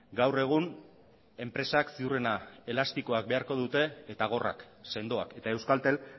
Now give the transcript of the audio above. gaur egun enpresak ziurrena elastikoa beharko dute eta gorrak sendoak eta euskaltel